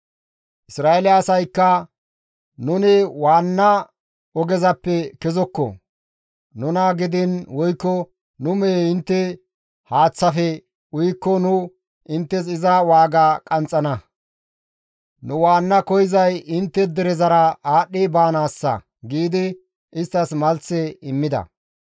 Isra7eele asaykka, «Nuni waanna ogezappe kezokko; nuna gidiin woykko nu mehey intte haaththafe uyikko nu inttes iza waaga qanxxana; nu waanna koyzay intte derezara aadhdhi baanaassa» giidi isttas malthe immida.